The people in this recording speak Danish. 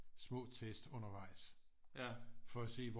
Små tests undervejs for at se hvor